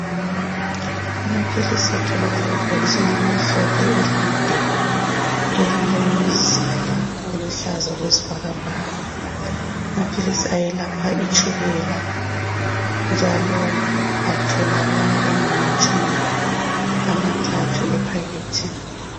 Amaphilisi atholakala ebhokisini elimhlophe elide, elilomzila oluhlaza okwesibhakabhaka. Amaphilisi ayelapha itshukela njalo atholakala engamatshumi amathathu ephakethini.